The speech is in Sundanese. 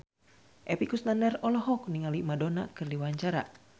Epy Kusnandar olohok ningali Madonna keur diwawancara